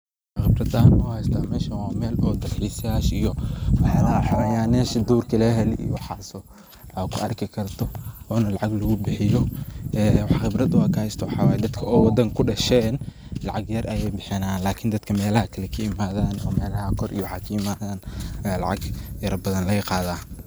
Waxaan qibrad ahaan uhaysta meshaan waa Mel dal xisayaasha iyo, wax yalaha xayawanayasha durka laga helo, iyo waxaas o kuarki karto onaa laacag lagubixiyo, waxaan qibraad o kahaysto waxaa waaye, daadka wadanka kudashten laacag yar ayey kabixiyaan Lakin daadka melaaha kalee kaimathaan o melaaha kore waaxa kaimathaan, laacag yarbathaan laaga qathaa.